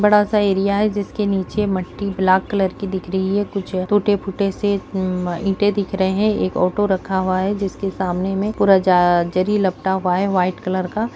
बड़ा-सा एरिया है जिसके नीचे मट्टी ब्लैक-कलर की दिख रही है कुछ टूटे-फूटे से एम इंटे दिख रहे हैं एक ऑटो रखा हुआ है जिसके सामने मे पूरा ज-जरी लपटा हुआ है व्हाइट कलर का।